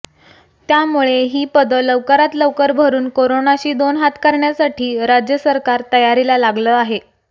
त्यामुळे ही पदं लवकरात लवकर भरुन कोरोनाशी दोन हात करण्यासाठी राज्य सरकार तयारीला लागलं आहे